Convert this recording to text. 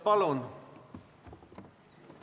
Palun!